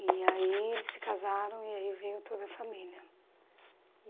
E aí eles se casaram e aí veio toda a família.